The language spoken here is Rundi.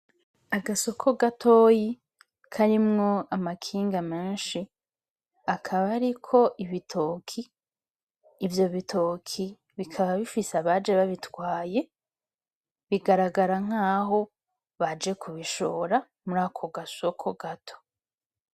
Agasoko gatoyi karimwo amakinga menshi akaba ariko ibitoki , ivyo bitoki bikaba bifise abaje babitwaye bigaragara nkaho baje kubishora muri ako gasoko gato .